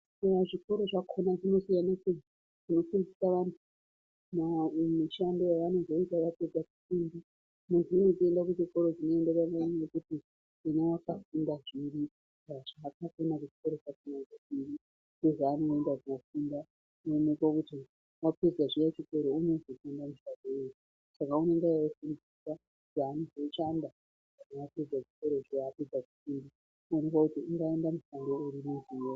Muzvikoro zvakona munosiyana-siyana munofundiswe vantu maererano nemishando yavanozoita vapedza kufunda, izvi zvinoita kuti vaende kuchikoro chinoenderane nekuti akafunda zvipi kana zvaakafunda kuchikoro kwachona ndezvipi ndozvaanoenda kunofunda echionekwa kuti apedza zviya chikora unozofunda achiita zvei. Saka anenge achifundiswa zvaanozoshanda kana apedza chikora zviya apedza kufunda oonekwa kuti ongaita kuti....